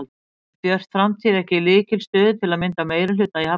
En er Björt framtíð ekki í lykilstöðu til að mynda meirihluta í Hafnarfirði?